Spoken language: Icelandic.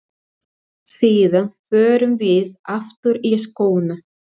Síðan förum við aftur í skóna.